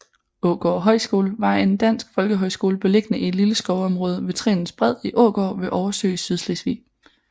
Aagaard Højskole var en dansk folkehøjskole beliggende i et lille skovområde ved Trenens bred i Aagaard ved Oversø i Sydslesvig